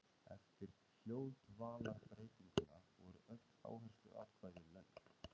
Eftir hljóðdvalarbreytinguna voru öll áhersluatkvæði löng.